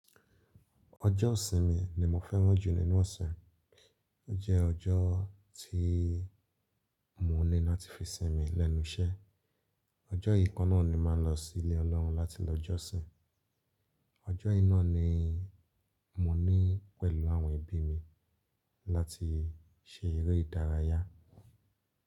Ọjọ́ ọ̀sìn mi ni mo fẹ́rán jù nínú ọ̀se, ó jẹ́ ọjọ́ tí mo ní láti fi sìn mi lẹ́nu iṣẹ́. Ọjọ́ yìí kọ́ nani màá lọ sí ilé Ọlọ́run láti lọ jọ́sìn. Ọjọ́ einá ni mo ní pẹ̀lú àwọn èbí mi láti ṣe eré ìdárayá.